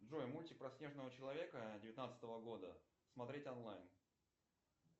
джой мультик про снежного человека девятнадцатого года смотреть онлайн